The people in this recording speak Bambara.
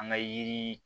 An ka yiri